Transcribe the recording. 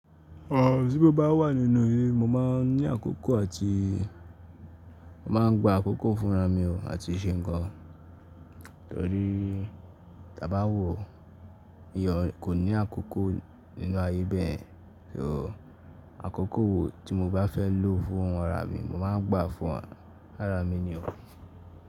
Rárá tí mo bá wà nínú ilé, mo máa ń ní àkókò àti mo má ń gba àkókò fúnra mi àti ṣe nńkan. Torí tí a bá wo eeyan kò ní àkókò nínú ayé bẹ́ẹ̀. Ṣé o, àkókò wo tí mo bá fẹ́ lò fún ara mi, mo máa ń gbà fún ara mi ni o.